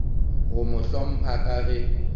go mo hlompha ka ge